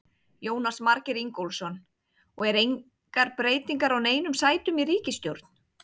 Jónas Margeir Ingólfsson: Og er engar breytingar á neinum sætum í ríkisstjórn?